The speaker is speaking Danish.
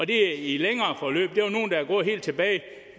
der helt tilbage